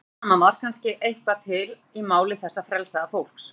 Eftir allt saman var kannski eitthvað til í máli þessa frelsaða fólks.